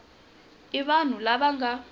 i vanhu lava va nga